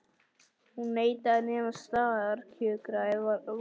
Hún neitaði að nema staðar kjökraði varðmaðurinn.